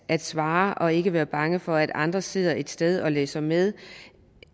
at svare og ikke være bange for at andre sidder et sted og læser med